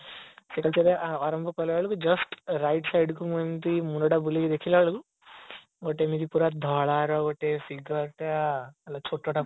cycle ଚଳେଇବା just ଆରମ୍ଭ କଲା ବେଳକୁ ଜୁଷ୍ଟ right side କୁ ମୁଁ ଏମିତି ମୁଣ୍ଡ ଟା ବୁଲେକି ଦେଖିଲା ବେଳକୁ ଗୋଟେ ଏମକ୍ତି ପୁରା ଧଳାର ଗୋଟେ ଟା